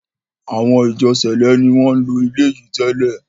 awọn “Ìjọ sẹ̀lẹ́” ni wọ́n ń lo ilé yìí tẹ́lẹ̀.